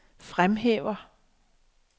fremhæver